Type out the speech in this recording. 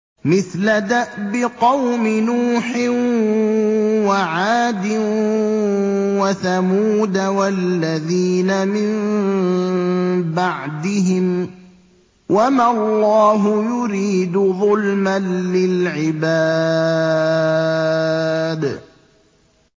مِثْلَ دَأْبِ قَوْمِ نُوحٍ وَعَادٍ وَثَمُودَ وَالَّذِينَ مِن بَعْدِهِمْ ۚ وَمَا اللَّهُ يُرِيدُ ظُلْمًا لِّلْعِبَادِ